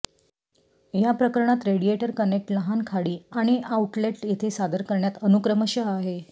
या प्रकरणात radiator connect लहान खाडी आणि आउटलेट येथे सादर करण्यात अनुक्रमशः आहे